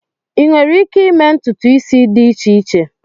Ịnwere ike ịme ntụtụ isi dị iche iche?